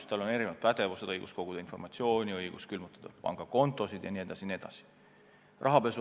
Bürool on erinevad pädevused: õigus koguda informatsiooni, õigus külmutada pangakontosid jne.